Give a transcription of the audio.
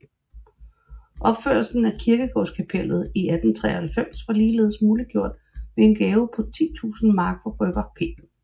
Opførelsen af kirkegårdskapellet i 1893 var ligeledes muliggjort ved en gave på 10000 mark fra brygger P